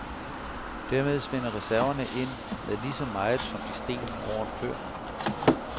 Dermed svinder reserverne ind med lige så meget, som de steg året før.